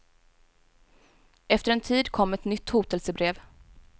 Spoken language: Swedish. Efter en tid kom ett nytt hotelsebrev.